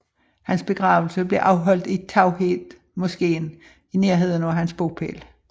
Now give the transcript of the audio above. Hans begravelse blev afholdt i Tauheed moskeen i nærheden af hans bopæl